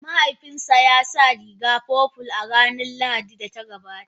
Mahaifina ya sa rigar purple a ranar Lahadin da ta gabata.